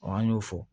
an y'o fɔ